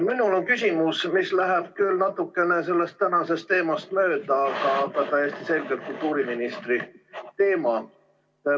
Minul on küsimus, mis läheb küll natukene sellest tänasest teemast mööda, aga on täiesti selgelt kultuuriministri teema.